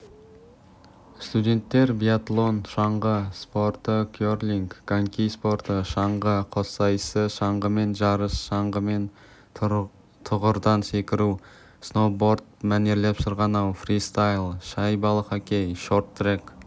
студенттер биатлон шаңғы спорты крлинг коньки спорты шаңғы қоссайысы шаңғымен жарыс шаңғымен тұғырдан секіру сноуборд мәнерлеп сырғанау фристайл шайбалы хоккей шорт-трек